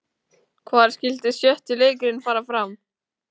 Hvar skyldi sjötti leikurinn fara fram?